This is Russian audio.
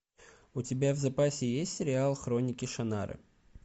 у тебя в запасе есть сериал хроники шаннары